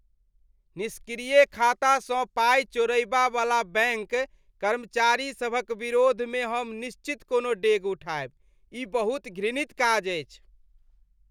निष्क्रिय खातासँ पाई चोरयबा वला बैंक कर्मचारीसभक विरोधमे हम निश्चित कोनो डेग उठायब। ई बहुत घृणित काज अछि।